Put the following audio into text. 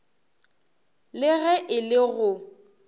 le ge e le go